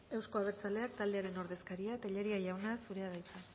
euzko abertzaleak taldearen ordezkaria tellería jauna zurea da hitza